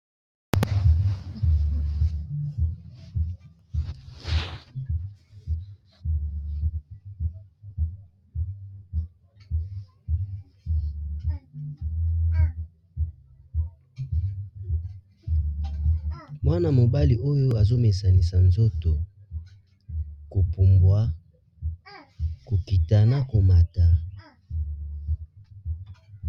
Mwana mobali oyo azomesanisa nzoto kopumbwa kokita na komata.